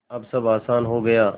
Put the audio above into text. अब सब आसान हो गया